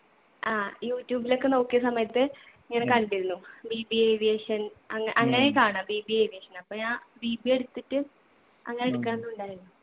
ആ youtube ഇലൊക്കെ നോക്കിയ സമയത്ത് ഇങ്ങനെ കണ്ടിരുന്നു. BBAaviation അങ്ങ അങ്ങനെയാ കാണാ BBAaviation അപ്പൊ ഞാൻ BBA എടുത്തിട്ട് അങ്ങനെ എടുക്കാന്നുണ്ടായിരുന്നു.